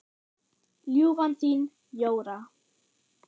Ljúfan þín, Jóra.